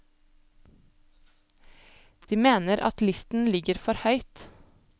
De mener at listen ligger for høyt.